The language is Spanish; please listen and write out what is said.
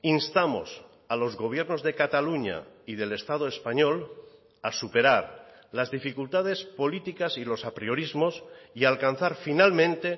instamos a los gobiernos de cataluña y del estado español a superar las dificultades políticas y los apriorismos y alcanzar finalmente